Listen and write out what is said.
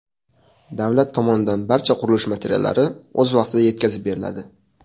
Davlat tomonidan barcha qurilish materiallari o‘z vaqtida yetkazib beriladi.